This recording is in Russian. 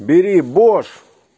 бери бош